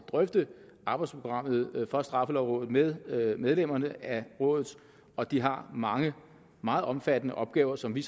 drøfte arbejdsprogrammet for straffelovrådet med medlemmerne af rådet og de har mange meget omfattende opgaver som vi